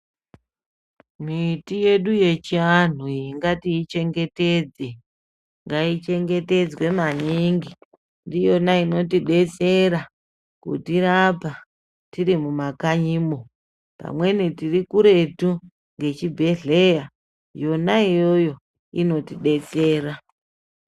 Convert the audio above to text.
Miti yedu yechianhu iyi ngatiichengetedze, ngaichengetedzwe maningi ndiyona inotidetsera, kutirapa tirimumakanyimwo. Vamweni tirikuretu ngechibhehleya, yona iyoyo, inotidetsera.